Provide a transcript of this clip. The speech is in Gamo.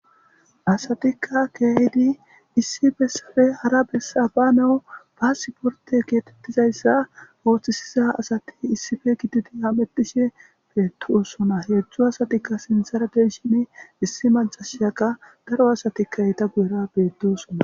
asatikka keehidi issifesafe hara besaba nawu ba siporte geetettizayssa ooththisiza asati issife gididi ametishe beetosona heedzdzu asatikka sinsaradeshini issi mancashaka daro asatikka eeta guyera betosona.